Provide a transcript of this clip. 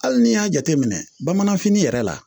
Hali n'i y'a jateminɛ bamananfin yɛrɛ la